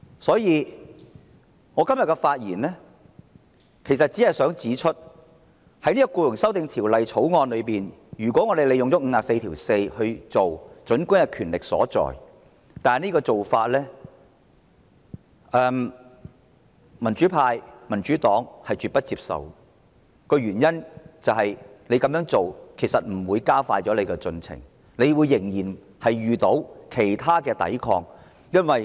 所以，我只想在今天的發言中指出，引用《議事規則》第544條處理這項法案，儘管有其權力依據，但這做法是民主派、民主黨絕不接受的，因為這並不能讓政府加快進程，它仍然會遇到其他抵抗。